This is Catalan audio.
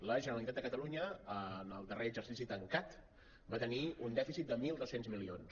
la generalitat de catalunya en el darrer exercici tancat va tenir un dèficit de mil dos cents milions